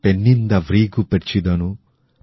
পেণ্ণিন্দা ভৃগূ পের্চিদনু